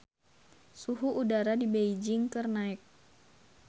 Suhu udara di Beijing keur naek